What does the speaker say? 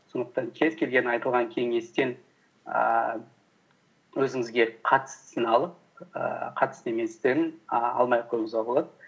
сондықтан кез келген айтылған кеңестен ііі өзіңізге қатыстысын алып ііі қатысты еместерін ііі алмай ақ қоюыңызға болады